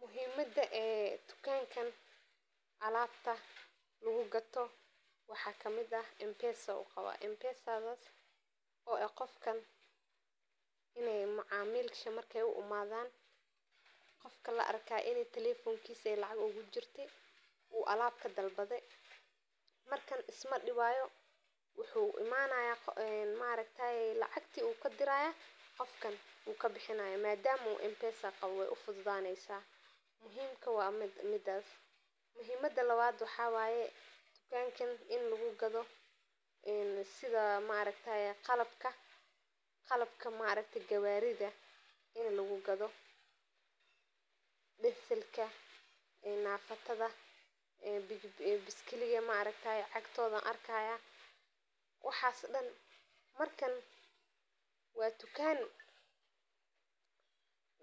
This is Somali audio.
Muhiimaada ee tukankan alabta lagu gato waxaa kamiid ah mpesa ayu qawa mpesadhas oo ah qof in ee macamisha marke u imadhan qofka la arka in u talefonkisa ee lacag ogu jirte u alab kafal badhe markan isma diwayo wuxuu imanaya maragtaye lacagti ayu kadiraya qofkan u kabixinayo madama u mpesa qawo wey ufudhudaneysa muhiim ka waa midas, muhiimada lawaad waxaa waye tukankan in lagu gadho sidha maaragtaye qalabka maragte gawaridha ini lagu gadho deselka ee nafatada aya lagu gadha, bigi bigiga cagtisa ayan mesha ku arki haya waxan dan markas waa tukan